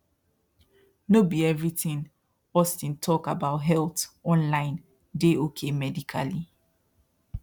no be everything austin talk about health online dey okay medically